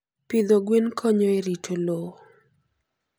Pidho gwen konyo e rito lowo.